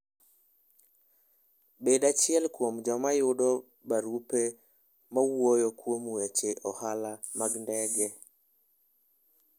Bed achiel kuom joma yudo barupe mawuoyo kuom weche ohala mag ndege.